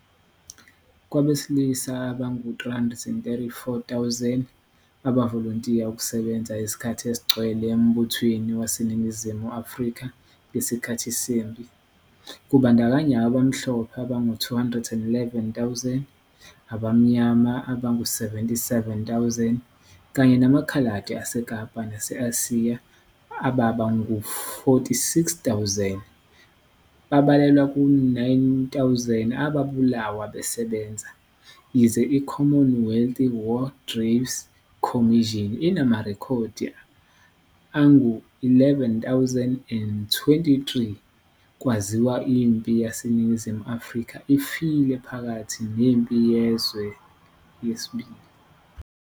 Kwabesilisa abangama-334,000 abavolontiya ukusebenza isikhathi esigcwele eMbuthweni waseNingizimu Afrika ngesikhathi sempi, kubandakanya abamhlophe abangaba ngu-211,000, abamnyama abangama-77,000 kanye namaKhaladi aseKapa nabase-Asiya abangama- 46,000, babalelwa ku-9 000 ababulawa besebenza, yize iCommonwealth War Graves Commission inamarekhodi angama-11 023 kwaziwa impi yaseNingizimu Afrika ifile phakathi neMpi Yezwe II.